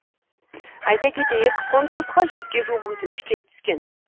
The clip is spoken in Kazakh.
айта кетейік конкурсқа жүзге жуық өтініш келіп түскен